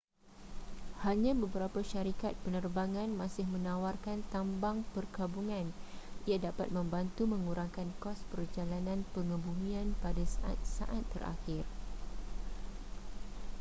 hanya beberapa syarikat penerbangan masih menawarkan tambang perkabungan ia dapat membantu mengurangkan kos perjalanan pengebumian pada saat-saat terakhir